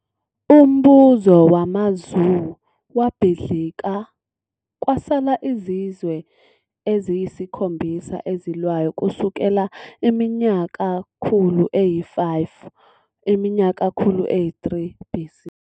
Umbuso wamaZhou wabhidlika, kwasala izizwe eziyisikhombisa ezilwayo kusukela iminyakakhulu eyi-5 kuya iminyakakhulu eyi-3 BC.